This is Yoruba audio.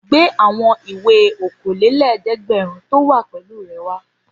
Gbé àwọn ìwé okòólélẹ́ẹ̀dẹ́gbẹ̀rún tó wà pẹ̀lú rẹ wá!